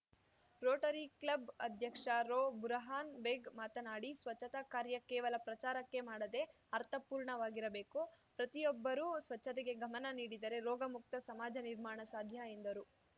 Rotary club ಅಧ್ಯಕ್ಷ ರೋ ಬುರಹಾನ್‌ ಬೇಗ್‌ ಮಾತನಾಡಿ ಸ್ವಚ್ಛತಾ ಕಾರ್ಯ ಕೇವಲ ಪ್ರಚಾರಕ್ಕೆ ಮಾಡದೆ ಅರ್ಥಪೂರ್ಣವಾಗಿರಬೇಕು ಪ್ರತಿಯೊಬ್ಬರೂ ಸ್ವಚ್ಛತೆಗೆ ಗಮನ ನೀಡಿದರೆ ರೋಗ ಮುಕ್ತ ಸಮಾಜ ನಿರ್ಮಾಣ ಸಾಧ್ಯ ಎಂದರು